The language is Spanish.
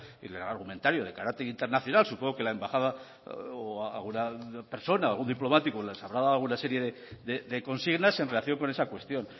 y en el argumentario de carácter internacional supongo que la embajada o alguna persona o algún diplomático les habrá dado una serie de consignas en relación con esa cuestión